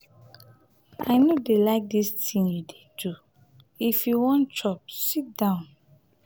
i no dey like dis thing you dey do. if you wan chop sit down.